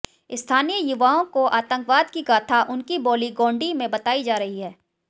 स्थानीय युवाओं को आतंकवाद की गाथा उनकी बोली गोंडी में बताई जा रही है